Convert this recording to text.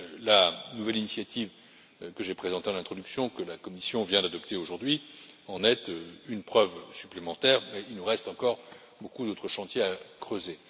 La nouvelle initiative que j'ai présentée en introduction, et que la Commission vient d'adopter aujourd'hui, en est une preuve supplémentaire, mais il nous reste encore beaucoup d'autres chantiers à ouvrir.